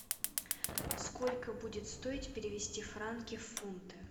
сколько будет стоить перевести франки в фунты